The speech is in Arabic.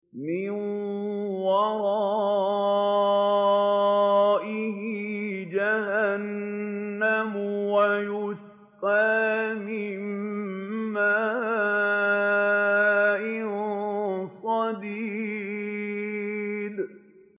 مِّن وَرَائِهِ جَهَنَّمُ وَيُسْقَىٰ مِن مَّاءٍ صَدِيدٍ